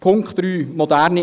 Punkt 3: